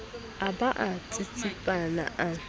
a ba a tsitsipana a